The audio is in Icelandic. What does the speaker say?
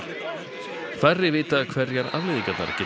færri vita hverjar afleiðingarnar geta